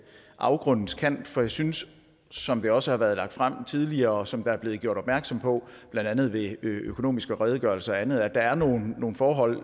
afgrundens kant for jeg synes som det også har været lagt frem tidligere og som der er blevet gjort opmærksom på blandt andet ved økonomiske redegørelser og andet at der er nogle nogle forhold